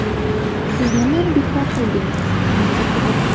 Siz nimani bekor qildingiz, menga qiziq?